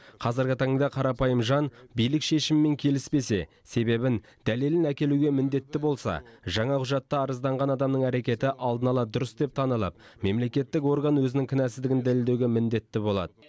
қазіргі таңда қарапайым жан билік шешімімен келіспесе себебін дәлелін әкелуге міндетті болса жаңа құжатта арызданған адамның әрекеті алдын ала дұрыс деп танылып мемлекеттік орган өзінің кінәсіздігін дәлелдеуге міндетті болады